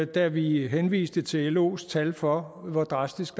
da vi henviste til los tal for hvor drastisk